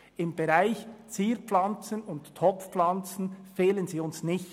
Im Bereich Zierpflanzen und Topfpflanzen fehlen sie uns hingegen nicht.